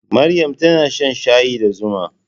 Maryam tana shan shayi da zuma.